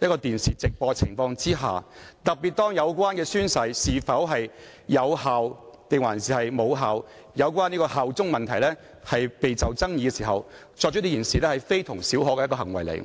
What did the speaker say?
由電視直播可以看到的，還正值宣誓屬有效或無效、是否效忠等問題備受爭議之時，這事件關乎非同小可的一種行為。